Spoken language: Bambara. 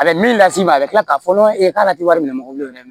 A bɛ min las'i ma a bɛ tila k'a fɔ e k'ale ti wari minɛ mɔgɔ bolo dɛ